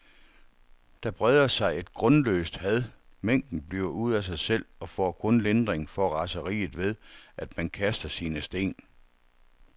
Der breder sig et grundløst had, mængden bliver ude af sig selv og får kun lindring for raseriet ved, at man kaster sine sten.